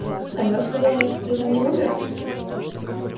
алё сказал я ты там не умер